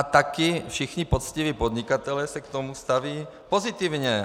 A taky všichni poctiví podnikatelé se k tomu staví pozitivně.